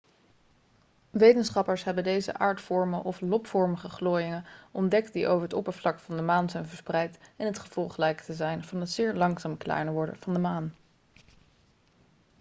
wetenschappers hebben deze aardvormen of lobvormige glooiingen ontdekt die over het oppervlak van de maan zijn verspreid en het gevolg lijken te zijn van het zeer langzaam kleiner worden van de maan